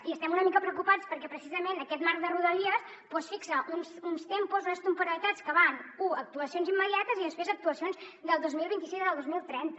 i estem una mica preocupats perquè precisament aquest marc de rodalies fixa uns tempos unes temporalitats que van u a actuacions immediates i després a actuacions del dos mil vint sis al dos mil trenta